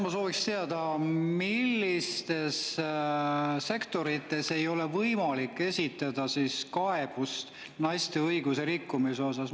Ma sooviksin teada, millistes sektorites ei ole võimalik esitada kaebust naiste õiguse rikkumise osas.